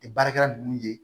baarakɛla nunnu ye